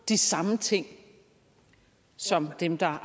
de samme ting som dem der har